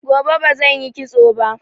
Gobe bazan yi kitsoba